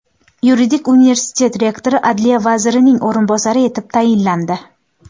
Yuridik universitet rektori adliya vazirining o‘rinbosari etib tayinlandi.